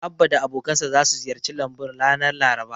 Abba da abokansa zasu ziyarci lambun ranar Laraba.